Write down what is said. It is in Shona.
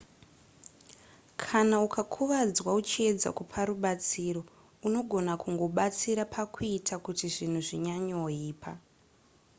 kana ukakuvadzwa uchiedza kupa rubatsiro unogona kungobatsira pakuita kuti zvinhu zvinyanyoipa